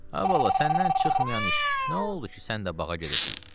Ay bala, səndən çıxmayan iş, nə oldu ki, sən də bağa gedirsən?